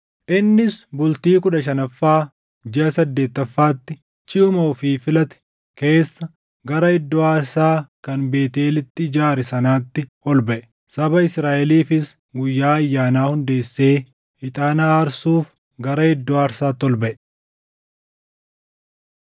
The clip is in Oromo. Innis bultii kudha shanaffaa jiʼa saddeettaffaatti jiʼuma ofii filate keessa gara iddoo aarsaa kan Beetʼeelitti ijaare sanaatti ol baʼe. Saba Israaʼeliifis guyyaa ayyaanaa hundeessee ixaana aarsuuf gara iddoo aarsaatti ol baʼe.